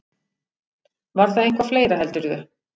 Var það eitthvað fleira, heldurðu?